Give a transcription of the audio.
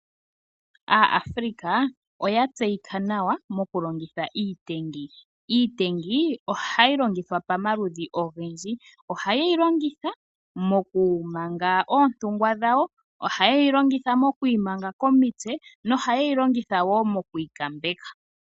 Aafrica oyatseyika nawa mokulongitha iitengi. Iitengi ohayi longithwa pamaludhi ogendji, ohaye yilongitha mokumanga oontungwa dhawo, ohaye yilongitha mokwiimanga komitse nosho woo okwiikambeka.